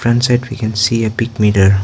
and set we can see a pic meter.